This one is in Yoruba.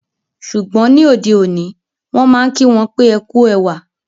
Ṣùgbọ́n, ní ọdẹ̀ oní, wọn maa n kí wọn pe "Ẹ ku èwà"